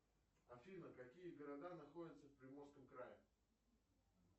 афина какие города находятся в приморском крае